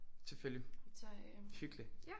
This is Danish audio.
Selvfølgelig. Hyggeligt